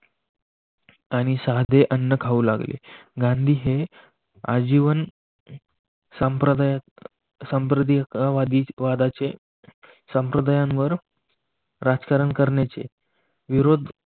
आणि साधे अन्न खाऊ लागले गांधी हे आजीवन सांप्रदायी वादाचे संप्रदेणावर राजकारण करण्याचे विरोध